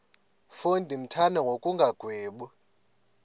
mfo ndimthanda ngokungagwebi